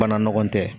Bana nɔgɔ tɛ